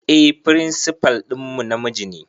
Eh firinsifal ɗinmu namiji ne